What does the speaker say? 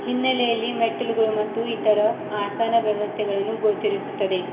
ಹಿನ್ನಲೆಯಲ್ಲಿ ಮೆಟ್ಟಿಲುಗಳು ಮತ್ತು ಇತರ ಆಸನ ವ್ಯವಸ್ತೆಗಳನ್ನು ಗೋಛರಿಸುತ್ತದೆ.